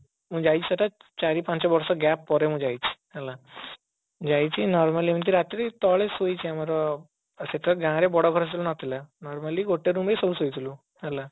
ମୁଁ ଯାଇଛି ସେଟା ଚାରି ପାଞ୍ଚ ବର୍ଷ gap ପରେ ମୁଁ ଯାଇଛି ହେଲା ଯାଇଛି normal ଏମତି ରାତିରେ tale ଶୋଇଛି ଆମର ଆଉ ସେତେବେଳେ ଗାଁରେ ବଡ ଘର ସବୁ ନଥିଲା normally ଗୋଟେ room ରେ ସବୁ ଶୋଇଥିଲୁ ହେଲା